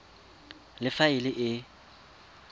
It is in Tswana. le fa e le e